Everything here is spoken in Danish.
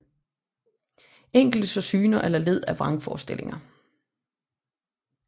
Enkelte så syner eller led af vrangforestillinger